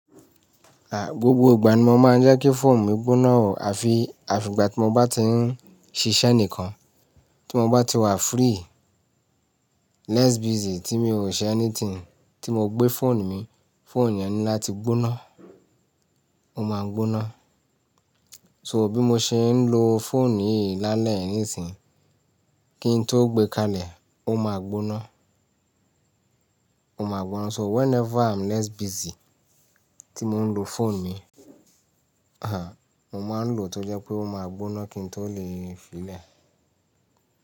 À, gbogbo ìgbà ni mo máa ń jẹ́ kí fóònù mi gbóná ò, àfi, àfi ìgbà tí mo bá ti ń ṣiṣẹ́ nìkan, tí mo bá ti wà free, less busy, tí mi ò ṣe anything, tí mo gbé fóònù mi, fóònù yẹn ní láti gbóná, ó máa gbóná. So bí mo ṣe ń lo fóònù yìí lálẹ́ nísìnyí, kí n tó gbé kalẹ̀, ó máa gbóná. Ó máa gbóná, so whenever I'm less busy tí mo ń lo fóònù mi, à, mo máa ń lò ó tí ó jẹ́ pé ó máa gbóná kí n tó lè fi lẹ̀.